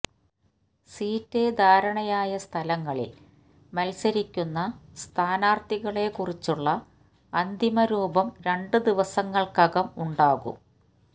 സീറ്റുധാരണയായ സ്ഥലങ്ങളില് മത്സരിക്കുന്ന സ്ഥാനാര്ഥികളെക്കുറിച്ചുള്ള അന്തിമ രൂപം രണ്ടു ദിവസങ്ങള്ക്കകം ഉണ്ടാകും